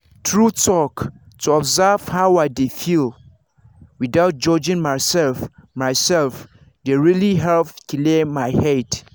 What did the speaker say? true talk to observe how i dey feel without judging myself myself dey really help clear my head.